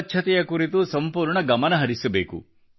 ಸ್ವಚ್ಛತೆಯ ಕುರಿತು ಸಂಪೂರ್ಣ ಗಮನಹರಿಸಬೇಕು